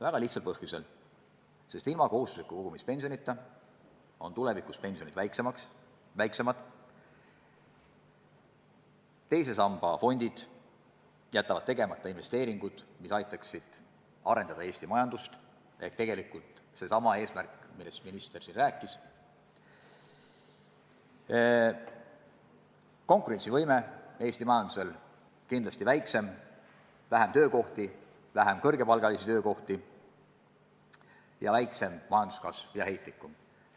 Väga lihtsal põhjusel: sest ilma kohustusliku kogumispensionita on tulevikus pensionid väiksemad; teise samba fondid jätavad tegemata investeeringud, mis aitaksid arendada Eesti majandust, ja jääb saavutamata eesmärk, millest siin minister rääkis; Eesti majanduse konkurentsivõime on kindlasti väiksem; vähem on kõrgepalgalisi töökohti ja majanduskasv on heitlikum.